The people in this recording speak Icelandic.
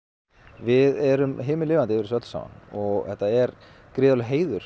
við erum himinlifandi yfir þessu öllu saman og þetta er gríðarlegur heiður